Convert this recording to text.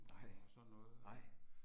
Nej, nej